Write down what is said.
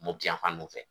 Mopti yanfan ninnu fɛ